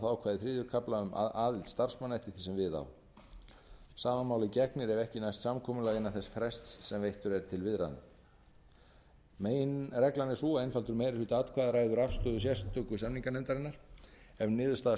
þá ákvæði þriðja kafla um aðild starfsmanna eftir því sem við á sama máli gegnir ef ekki næst samkomulag innan þess frests sem veittur er til viðræðna meginreglan er sú að einfaldur meiri hluti atkvæða ræður afstöðu sérstöku samninganefndarinnar ef niðurstaða